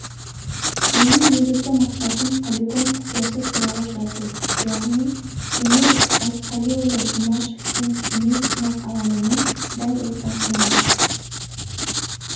менің негізгі мақсатым полигон құпиясы туралы жазу яғни кемел айтқалиұлы жұмашевтің семей сынақ алаңының дәл ортасынада